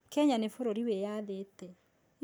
Kenya nĩ bũrũri wĩyathĩte